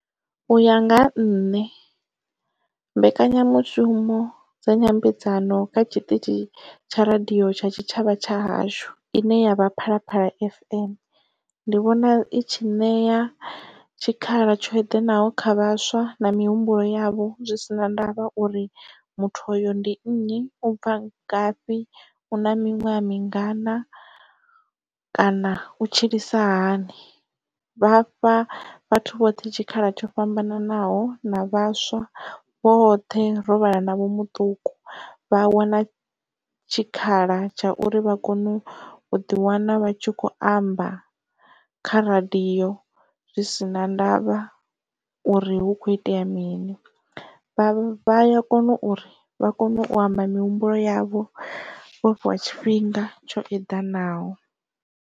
U ya nga nṋe mbekanyamushumo dza nyambedzano kha tshiṱitshi tsha radio tsha tshitshavha tsha hashu ine ya vha Phalaphala fm ndi vhona i tshi ṋea tshikhala tsho eḓanaho kha vhaswa na mihumbulo yavho zwi si na ndavha uri muthu uyo ndi nnyi u bva ngafhi una miṅwaha mingana kana u tshilisa hani. Vha fha vhathu vhoṱhe tshikhala tsho fhambananaho na vhaswa vhoṱhe ro vhala na vho muṱuku vha wana tshikhala tsha uri vha kone u ḓi wana vha tshi kho amba kha radio zwi sina ndavha uri hu kho itea mini vha ya kona uri vha kone u amba mihumbulo yavho vhofhiwa tshifhinga tsho eḓanaho.